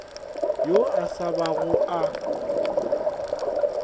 yo a sa bago a